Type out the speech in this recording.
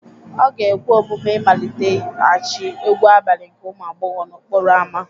Ọ ga-ekwe omume ịmaliteghachi egwu abalị nke ụmụ agbọghọ n'okporo ámá